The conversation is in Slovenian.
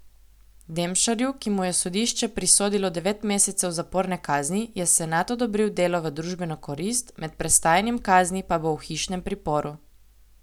Demšarju, ki mu je sodišče prisodilo devet mesecev zaporne kazni, je senat odobril delo v družbeno korist, med prestajanjem kazni pa bo v hišnem priporu.